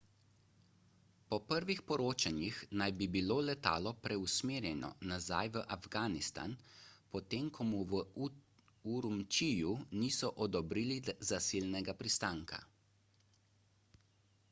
po prvih poročanjih naj bi bilo letalo preusmerjeno nazaj v afganistan potem ko mu v urumčiju niso odobrili zasilnega pristanka